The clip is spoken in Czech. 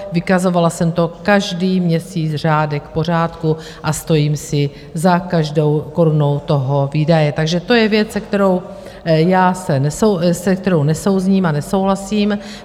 Vykazovala jsem to každý měsíc řádek po řádku a stojím si za každou korunou toho výdaje, takže to je věc, se kterou nesouzním a nesouhlasím.